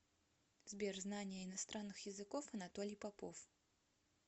сбер знание иностранных языков анатолий попов